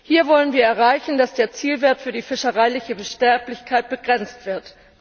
Hier wollen wir erreichen, dass der Zielwert für die fischereiliche Sterblichkeit begrenzt wird.